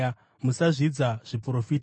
musazvidza zviprofita.